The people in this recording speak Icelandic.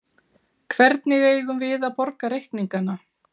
Hvernig eigum við að borga reikningana?